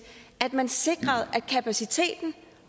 at man sikrede at kapaciteten